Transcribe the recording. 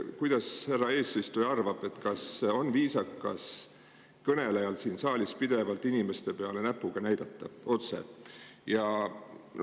Mis härra eesistuja arvab, kas on viisakas kõnelejal siin saalis pidevalt inimeste peale näpuga näidata, otse?